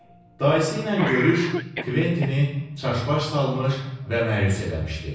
Dayısı ilə görüş Kventini çaşbaş salmış və məyus eləmişdi.